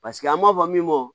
Paseke an b'a fɔ min ma